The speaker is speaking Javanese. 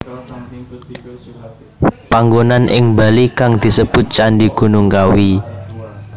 Panggonan ing Bali kang disebut Candhi Gunung Kawi